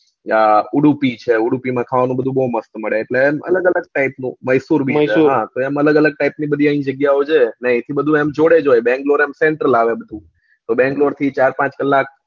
માં ખાવાનું બધું બવ મસ્ત મળે એટલે એમ અલગ અલગ type નું હા એમ અલગ અલગ type ની આયા બધી જગ્યા ઓ છે એટલે આયા થી બધું જોડે જ હોય બેંગ્લોર એટલે આમ sentral આવે બધું એટલે બેન્લ્ગોર થી ચાર પાંચ કલાક